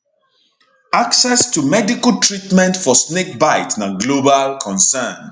access to medical treatment for snakebite na global concern